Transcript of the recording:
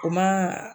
O ma